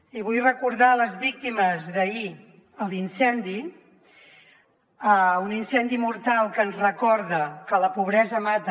i vull recordar les víctimes d’ahir a l’incendi un incendi mortal que ens recorda que la pobresa mata